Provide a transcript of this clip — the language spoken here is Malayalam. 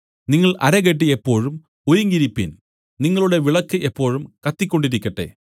നിങ്ങൾ അരകെട്ടി എപ്പോഴും ഒരുങ്ങിയിരിപ്പിൻ നിങ്ങളുടെ വിളക്ക് എപ്പോഴും കത്തിക്കൊണ്ടിരിക്കട്ടെ